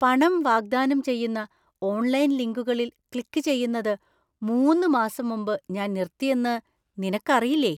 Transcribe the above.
പണം വാഗ്ദാനം ചെയ്യുന്ന ഓൺലൈൻ ലിങ്കുകളിൽ ക്ലിക്ക് ചെയ്യുന്നത്, മൂന്ന് മാസം മുമ്പ് ഞാൻ നിർത്തിയെന്ന് നിനക്കറിയില്ലേ?